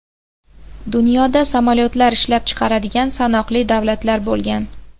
Dunyoda samolyotlar ishlab chiqaradigan sanoqli davlatlar bo‘lgan.